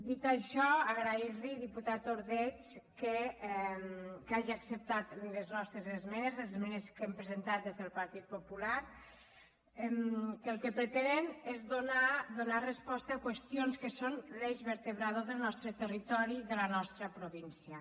dit això agrair·li diputat ordeig que hagi acceptat les nostres esmenes les esmenes que hem presentat des del partit popular que el que pretenen és donar resposta a qüestions que són l’eix vertebrador del nos·tre territori i de la nostra província